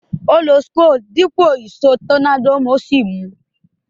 Ó lo àwon screw dípò ìsó tornado ó sì mu